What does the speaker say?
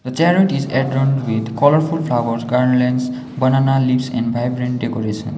the chariot is adorned with colourful flowers garlands banana leaves and vibrant decorations.